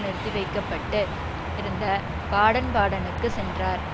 நிறுத்திவைக்கப்பட்டு இருந்த பாடன்பாடனுக்கு சென்றார்